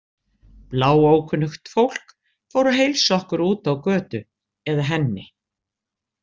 Bláókunnugt fólk fór að heilsa okkur úti á götu, eða henni.